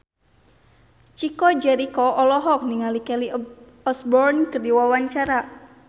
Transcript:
Chico Jericho olohok ningali Kelly Osbourne keur diwawancara